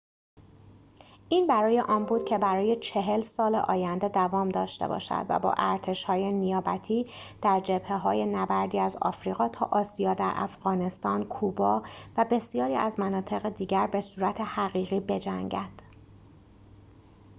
این برای آن بود که برای ۴۰ سال آینده دوام داشته باشد و با ارتش‌های نیابتی در جبهه‌های نبردی از آفریقا تا آسیا در افغانستان کوبا و بسیاری از مناطق دیگر به صورت حقیقی بجنگد